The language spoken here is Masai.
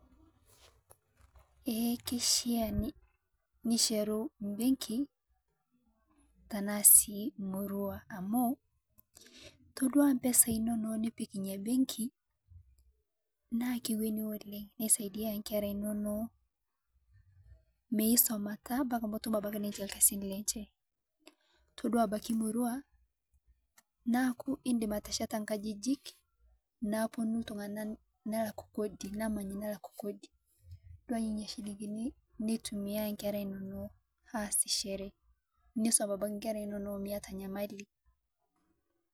ee kishaa nishetu embeki amu todua impesai inonok nipik benki naa kisaidia inkera inonok toduo ebaki imurua, neeku idim atesheta inkajijik naapuonu iltunganak, nelak kodi napuonu inkera inonok aasishore nisum inkera inonok miyata enyamali.